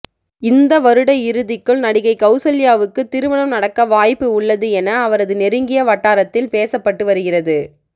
இந்த வருட இறுதிக்குள் நடிகை கவுசல்யாவுக்கு திருமணம் நடக்கவாய்ப்பு உள்ளது என அவரது நெருங்கிய வட்டாரத்தில் பேசப்பட்டு வருகிறது